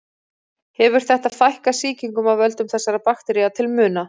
Hefur þetta fækkað sýkingum af völdum þessara baktería til muna.